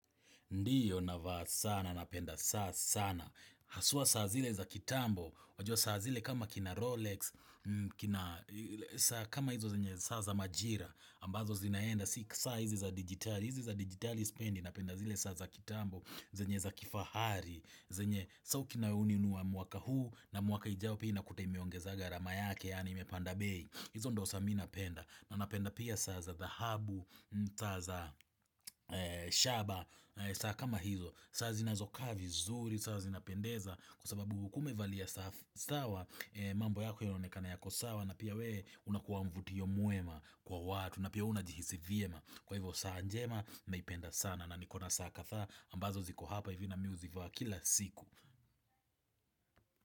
Ndiyo, navaa sana, napenda saa sana. Haswa saa zile za kitambo, wajua saa zile kama kina Rolex, kina kama hizo zenye saa za majira, ambazo zinaenda, si saa hizi za dijitali, hizi za dijitali sipendi, napenda zile saa za kitambo, zenye za kifahari, zenye sasa ukinunua mwaka huu na mwaka ujao pia unakuta imeongeza gharama yake yaani imepanda bei. Hizo ndio saa mimi napenda na napenda pia saa za dhahabu saa za shaba, saa kama hizo, saa zinazokaa vizuri, saa zinapendeza, kwa sababu kama umevalia saa sawa, mambo yako inaonekana yako sawa, na pia wewe unakuwa mvutio mwema, kwa watu, na pia huwa unajihisi vyema, kwa hivyo saa njema, naipenda sana, na nikona saa kadhaa ambazo ziko hapa hivi na mimi huzivaa kila siku.